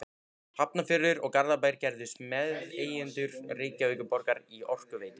Hafnarfjörður og Garðabær gerðust meðeigendur Reykjavíkurborgar í Orkuveitu